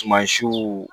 Sumasiw